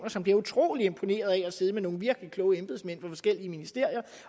som bliver utrolig imponerede over at sidde med nogle virkelig kloge embedsmænd fra forskellige ministerier